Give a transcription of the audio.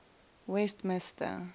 westmister